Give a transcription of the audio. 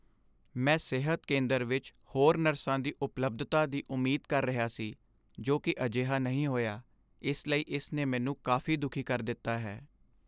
"ਮੈਂ ਸਿਹਤ ਕੇਂਦਰ ਵਿੱਚ ਹੋਰ ਨਰਸਾਂ ਦੀ ਉਪਲਬਧਤਾ ਦੀ ਉਮੀਦ ਕਰ ਰਿਹਾ ਸੀ ਜੋ ਕਿ ਅਜਿਹਾ ਨਹੀਂ ਹੋਇਆ, ਇਸ ਲਈ ਇਸ ਨੇ ਮੈਨੂੰ ਕਾਫ਼ੀ ਦੁਖੀ ਕਰ ਦਿੱਤਾ ਹੈ।"